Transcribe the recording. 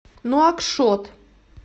нуакшот